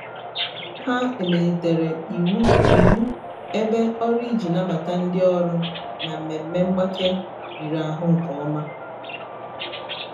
ha emelitere iwu iwu ebe ọrụ iji nabata ndị ọrụ na mmemme mgbake riri ahụ nke ọma.